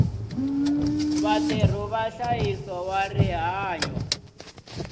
vatirhi va nhlayiso wa rihanyo